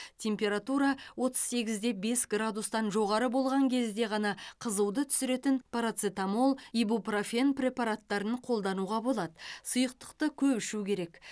температура отыз сегіз де бес градустан жоғары болған кезде ғана қызуды түсіретін парацетамол ибупрофен препараттарын қолдануға болады сұйықтықты көп ішу керек